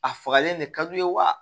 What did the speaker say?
A fagalen de ka d'u ye wa